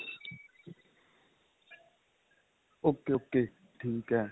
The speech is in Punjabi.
ok ok ਠੀਕ ਏ